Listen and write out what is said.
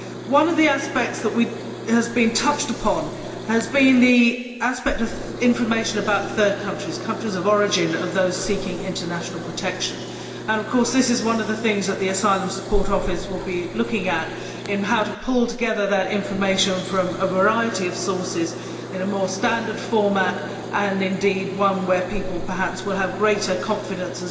One of the aspects that has been touched upon has been that of information about third countries the countries of origin of those seeking international protection. Of course this is one of the things that the Asylum Support Office will be looking at how to pull together that information from a variety of sources in a more standard format and perhaps a format where people will have greater confidence